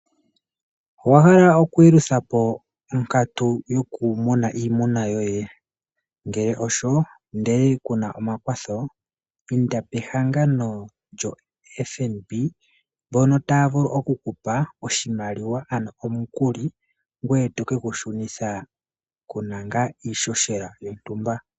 Owa hala okuyeluthapo onkatu yokumuna iimuna yoye? Ngele osho ndele kuna omakwatho inda apehangano lyoFNB otali vulu okukupa omukuli ngoye to keyi shunitha nale kuna iihoshela iishona.